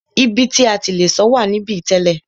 Ibi ti a ti le sọ̀ wà níbí tẹ́lẹ̀.